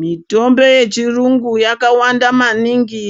Mitombo yechirungu yakawanda maningi